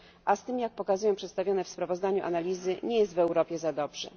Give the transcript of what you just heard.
A z tym, jak pokazują przedstawione w sprawozdaniu analizy, nie jest w Europie za dobrze.